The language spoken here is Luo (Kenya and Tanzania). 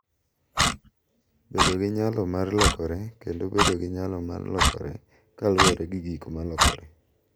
Bedo gi nyalo mar lokore kendo bedo gi nyalo mar lokore kaluwore gi gik ma lokore